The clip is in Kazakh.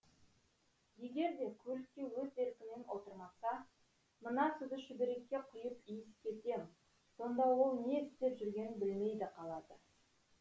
егер де көлікке өз еркімен отырмаса мына суды шүберекке құйып иіскетем сонда ол не істеп жүргенін білмей де қалады